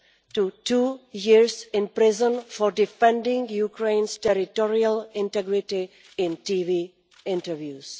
to two years in prison for defending Ukraine's territorial integrity in television interviews.